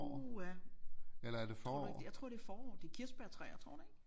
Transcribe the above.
Uha tror du ikke jeg tror det er forår det er kirsebærtræer tror du ikke